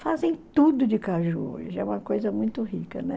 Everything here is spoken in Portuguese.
Fazem tudo de caju hoje, é uma coisa muito rica, né?